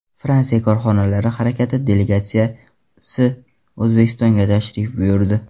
Fransiya Korxonalari harakati delegatsiyasi O‘zbekistonga tashrif buyurdi.